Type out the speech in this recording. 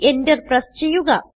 Enter press ചെയ്യുക